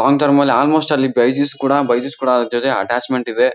Long term ಅಲ್ಲಿ almost ಅಲ್ಲಿ ಕೂಡ ಅವ್ರು ಜೊತೆ ಅಟ್ಯಾಚ್ಮೆಂಟ್ ಇದೆ.